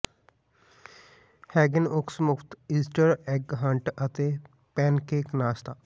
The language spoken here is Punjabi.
ਹੈਗਿਨ ਓਕਸ ਮੁਫ਼ਤ ਈਸਟਰ ਐੱਗ ਹੰਟ ਅਤੇ ਪੈੱਨਕੇਕ ਨਾਸ਼ਤਾ